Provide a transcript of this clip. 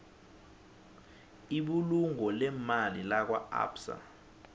ibulungo leemali lakwaabsa